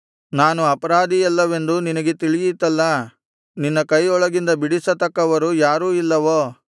ನಾನು ಅಪರಾಧಿಯಲ್ಲವೆಂದು ನಿನಗೆ ತಿಳಿಯಿತಲ್ಲಾ ನಿನ್ನ ಕೈಯೊಳಗಿಂದ ಬಿಡಿಸತಕ್ಕವರು ಯಾರೂ ಇಲ್ಲವೋ